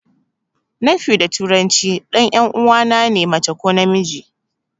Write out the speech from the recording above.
Nephew da turanci ɗan 'yan uwana ne mace ko namiji.